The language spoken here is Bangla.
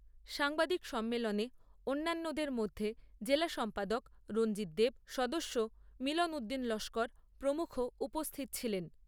সাংবাদিক সম্মেলনে অন্যান্যদের মধ্যে জেলা সম্পাদক রঞ্জিত দেব, সদস্য মিলন উদ্দিন লস্কর প্রমুখ উপস্থিত ছিলেন।